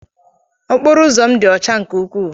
Okporo ụzọ m dị ọcha nke ukwuu